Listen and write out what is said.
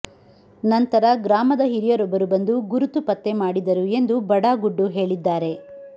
ನಂತರ ಗ್ರಾಮದ ಹಿರಿಯರೊಬ್ಬರು ಬಂದು ಗುರುತುಪತ್ತೆ ಮಾಡಿದರು ಎಂದು ಬಡಾ ಗುಡ್ಡು ಹೇಳಿದ್ದಾರೆ